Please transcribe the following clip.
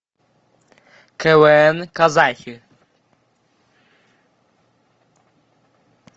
квн казахи